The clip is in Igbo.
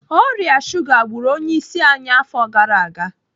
Ọrịa shuga gburu onye isi anyị afọ gara aga.